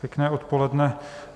Pěkné odpoledne.